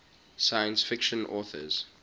science fiction authors